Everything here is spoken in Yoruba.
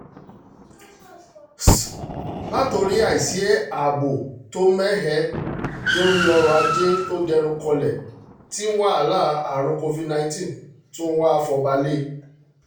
látorí àìsí ààbò ààbò tó mẹ́hẹ dorí ọ̀rọ̀-ajé tó dẹnu kọlẹ̀ tí wàhálà àrùn covid- nineteen tún wáá fọba lé e